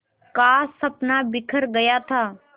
का सपना बिखर गया था